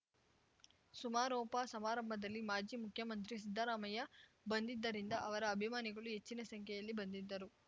ಸಮಾರೋಪ ಸಮಾರಂಭದಲ್ಲಿ ಮಾಜಿ ಮುಖ್ಯಮಂತ್ರಿ ಸಿದ್ದರಾಮಯ್ಯ ಬಂದಿದ್ದರಿಂದ ಅವರ ಅಭಿಮಾನಿಗಳು ಹೆಚ್ಚಿನ ಸಂಖ್ಯೆಯಲ್ಲಿ ಬಂದಿದ್ದರು